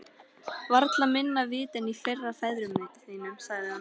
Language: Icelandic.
Varla minna vit en í fyrri ferðum þínum, sagði hún.